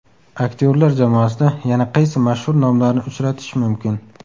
Aktyorlar jamoasida yana qaysi mashhur nomlarni uchratish mumkin?